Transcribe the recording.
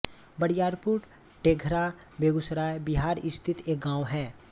बरियारपुर टेघरा बेगूसराय बिहार स्थित एक गाँव है